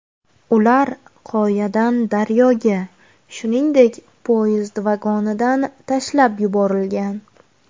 Ular qoyadan daryoga, shuningdek, poyezd vagonidan tashlab yuborilgan.